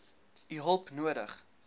u hulp nodig